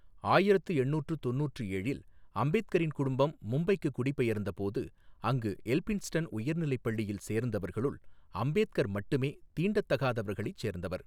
ஆயிரத்து எண்ணூற்று தொண்ணூற்று ஏழில் அம்பேத்கரின் குடும்பம் மும்பைக்கு குடிபெயர்ந்தபோது, அங்கு எல்பின்ஸ்டன் உயர்நிலைப் பள்ளியில் சேர்ந்தவர்களுள் அம்பேத்கர் மட்டுமே தீண்டத்தகாதவர்களைச் சேர்ந்தவர் .